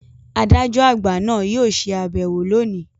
“Adájọ àgbà ” náà yóò ṣe àbẹ̀wò lóòní.